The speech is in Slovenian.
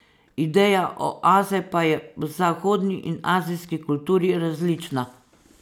Ideja oaze pa je v zahodni in azijski kulturi različna.